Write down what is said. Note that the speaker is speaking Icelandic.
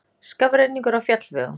Skafrenningur á fjallvegum